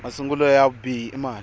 masungulo ya vubihi i mali